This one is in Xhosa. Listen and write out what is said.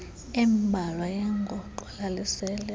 embalwa yengoxo lalisele